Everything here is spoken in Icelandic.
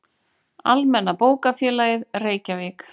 Almenna bókafélagið, Reykjavík.